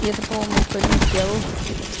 и это по-моему никто не сделал